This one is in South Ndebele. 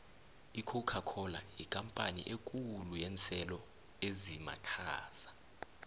icocacola yikampani ekhulu yenselo ezimakhaza